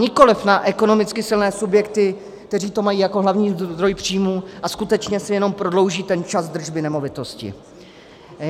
Nikoliv na ekonomicky silné subjekty, které to mají jako hlavní zdroj příjmů a skutečně si jenom prodlouží ten čas držby nemovitosti.